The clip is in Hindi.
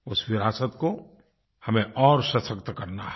इस विरासत को हमें और सशक्त करना है